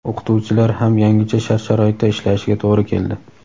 o‘qituvchilar ham yangicha shart-sharoitda ishlashiga to‘g‘ri keldi.